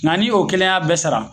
Nga ni o kelen y'a bɛɛ sara